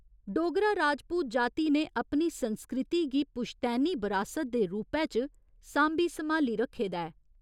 डोगरा राजपूत जाति ने अपनी संस्कृति गी पुश्तैनी बरासत दे रूपै च सांभी सम्हाली रक्खे दा ऐ।